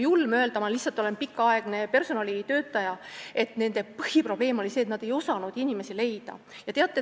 Võib-olla on julm seda öelda, mida ma nüüd ütlen, aga ma olen pikaaegne personalitöötaja.